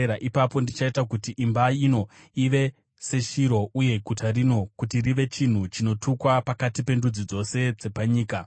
ipapo ndichaita kuti imba ino ive seShiro uye guta rino kuti rive chinhu chinotukwa pakati pendudzi dzose dzepanyika.’ ”